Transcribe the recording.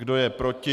Kdo je proti?